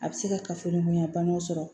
A bɛ se ka kafoɲɔgɔnya banaw sɔrɔ